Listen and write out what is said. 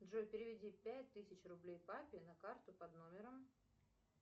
джой переведи пять тысяч рублей папе на карту под номером